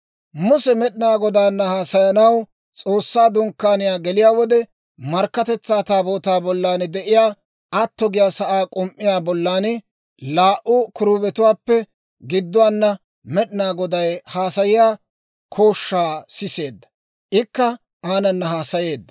Muse Med'inaa Godaana haasayanaw S'oossaa Dunkkaaniyaa geliyaa wode, Markkatetsaa Taabootaa bollan de'iyaa atto giyaa sa'aa k'um"uwaa bollan, laa"u kiruubetuwaappe gidduwaana Med'inaa Goday haasayiyaa kooshshaa siseedda; Ikka aanana haasayeedda.